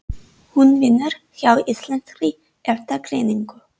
Hún vinnur hjá Íslenskri Erfðagreiningu.